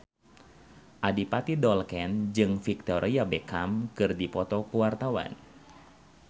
Adipati Dolken jeung Victoria Beckham keur dipoto ku wartawan